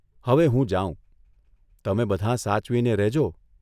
હવે હું જાઉં તમે બધાં સાચવીને રહેજો.